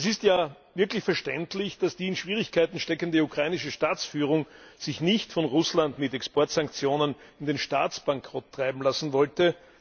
Es ist wirklich verständlich, dass die in Schwierigkeiten steckende ukrainische Staatsführung sich nicht von Russland mit Exportsanktionen in den Staatsbankrott treiben lassen wollte.